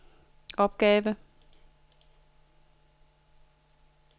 opgave